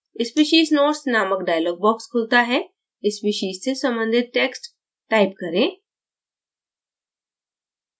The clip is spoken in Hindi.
species notes नामक dialog box खुलता है species से संबंधित text type करें